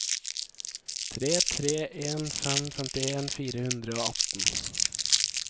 tre tre en fem femtien fire hundre og atten